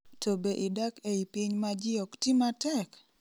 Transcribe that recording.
to be idak ei piny ma ji okti matek?